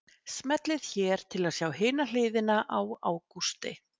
Smellið hér til að sjá hina hliðina á Ágústi